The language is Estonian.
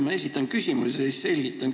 Ma esitan küsimuse ja siis selgitan.